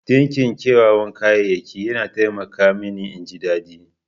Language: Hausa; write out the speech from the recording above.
Dinki kyawawan kayayyaki yana taimaka mini in ji daɗi.